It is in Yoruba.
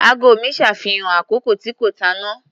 Ago mi ṣàfihàn àkókò tí kò tànnà.